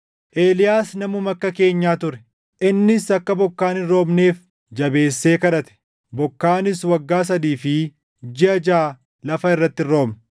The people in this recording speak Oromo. Eeliyaas namuma akka keenyaa ture. Innis akka bokkaan hin roobneef jabeessee kadhate; bokkaanis waggaa sadii fi jiʼa jaʼa lafa irratti hin roobne.